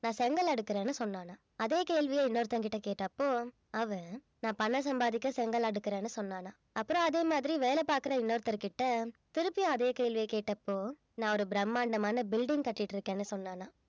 நான் செங்கல் அடுக்கறேன்னு சொன்னானாம் அதே கேள்விய இன்னொருத்தன்கிட்ட கேட்டப்போ அவன் நான் பணம் சம்பாதிக்க செங்கல் அடுக்கறேன்னு சொன்னானாம் அப்புறம் அதே மாதிரி வேலை பாக்குற இன்னொருத்தர்கிட்ட திருப்பியும் அதே கேள்வியைக் கேட்டப்போ நான் ஒரு பிரம்மாண்டமான building கட்டிட்டிருக்கேன்னு சொன்னானாம்